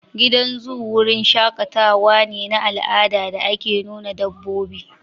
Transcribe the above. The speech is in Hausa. Gidan zoo wurin shaƙatawa ne na al'ada da ake nuna dabbobi